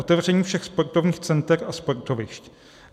Otevření všech sportovních center a sportovišť.